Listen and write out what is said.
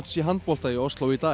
í handbolta í Osló í dag